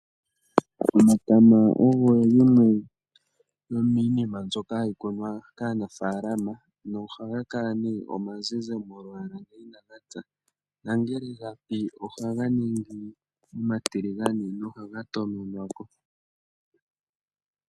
Omatama ogo yimwe yomiinima mbyoka hayi kunwa kaanafaalama nohaga kala omazizi molwaala ngele inaga pya, nongele gapi ohaga ningi omatiligane nohaga toononwako.